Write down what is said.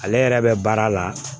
Ale yɛrɛ bɛ baara la